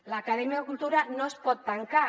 l’acadèmia cultura no es pot tancar